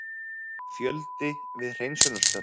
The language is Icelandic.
Fjöldi við hreinsunarstörf